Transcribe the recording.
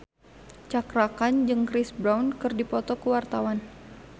Cakra Khan jeung Chris Brown keur dipoto ku wartawan